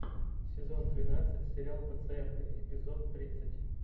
сезон двенадцать сериал пациенты эпизод тридцать